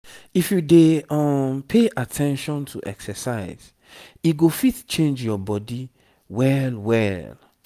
if you dey um pay at ten tion to exercise e go fit change your body well well.